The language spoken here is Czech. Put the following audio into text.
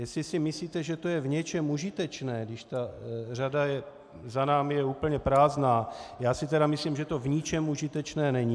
Jestli si myslíte, že to je v něčem užitečné, když ta řada za námi je úplně prázdná, já si tedy myslím, že to v ničem užitečné není.